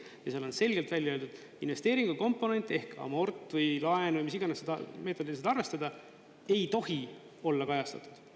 Ja seal on selgelt välja öeldud: investeeringukomponent ehk amort või laen – mis iganes meetodil seda arvestada ei tohi, see ei saa olla kajastatud.